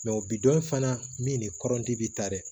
o bi dɔn in fana min ni kɔrɔti bi taa dɛ